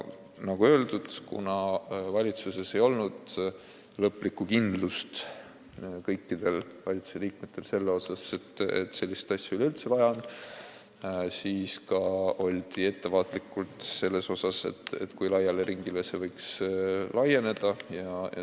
Nagu öeldud, kuna kõigil valitsusliikmetel ei olnud lõplikku kindlust, et sellist asja üleüldse vaja on, siis oldi ettevaatlikud seda otsustades, kui laia ringi kohta see võiks kehtida.